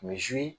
Misi